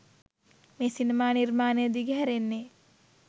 මේ සිනමා නිර්මාණය දිගහැරෙන්නේ